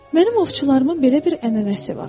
Mənim ovçularımın belə bir ənənəsi var.